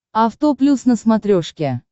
авто плюс на смотрешке